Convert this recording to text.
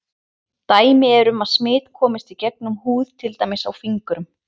Dæmi eru um að smit komist í gegnum húð til dæmis á fingrum.